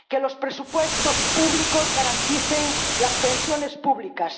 que los presupuestos públicos garanticen las pensiones públicas